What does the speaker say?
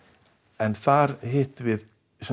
en þar hittum við